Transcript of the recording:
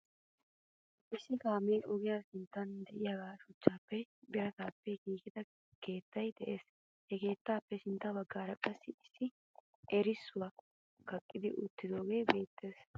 issi kaammiyaa ogiya sinttan de7iya suchchappene birattappe giggidaa keettay de7ees. he keettappe sintta baggara qassi issi eerisoy kaqqeti uttidagee beettees.